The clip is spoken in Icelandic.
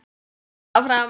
Hélt áfram.